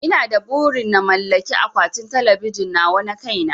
Ina da burin na mallaki akwatin talabijin nawa na kai na